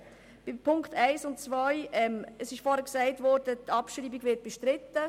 Zu den Punkten 1 und 2: Vorher wurde gesagt, die Abschreibung werde bestritten.